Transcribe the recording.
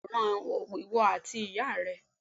mo ma yàwòrán owó ati ìyá rẹ